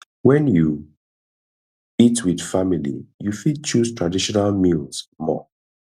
when you eat with family you fit choose traditional meals more